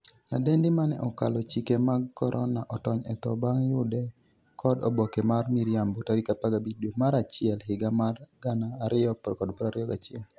nyadendi mane 'okalo chike mag korona' otony e tho bang' yude kod oboke mar miriambo tarik 15 dwe mar achiel higa mar 2021